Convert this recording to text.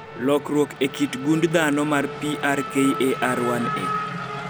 lokruok e kit gund dhano mar PRKAR1A